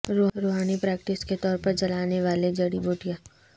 روحانی پریکٹس کے طور پر جلانے والے جڑی بوٹیاں